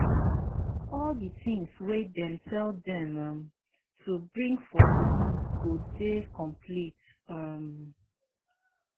all di things wey dem tell dem um to bring for list go dey complete um